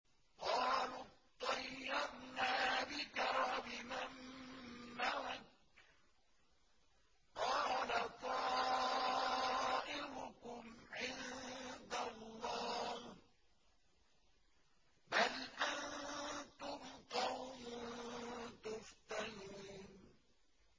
قَالُوا اطَّيَّرْنَا بِكَ وَبِمَن مَّعَكَ ۚ قَالَ طَائِرُكُمْ عِندَ اللَّهِ ۖ بَلْ أَنتُمْ قَوْمٌ تُفْتَنُونَ